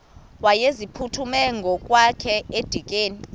wayeziphuthume ngokwakhe edikeni